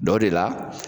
Dɔ de la